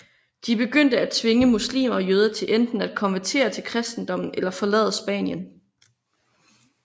De begyndte at tvinge muslimer og jøder til enten at konvertere til kristendommen eller forlade Spanien